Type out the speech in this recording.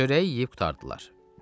Çörəyi yeyib qurtardılar.